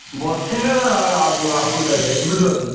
ବସିଲେ ଆ~ ଆଗୁ ଆଗୁକୁ ଯାଇପାରିଆନି ବୁଝିପାରୁଛନା।